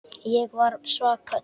Ég var svaka týpa.